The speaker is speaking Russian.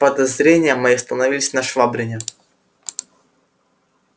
подозрения мои остановились на швабрине